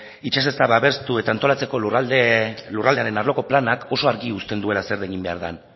babestu eta antolatzeko lurraldearen arloko planak oso argi uzten duela zer egin behar den